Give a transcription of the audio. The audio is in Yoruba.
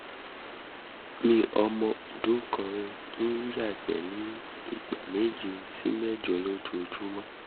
ọmọbìnrin mi ọmọ ọdún kan ń ya igbe ní igbe ní ìgbà méje sí mẹ́jọ lójúmọ́